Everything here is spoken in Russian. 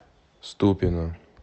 ступино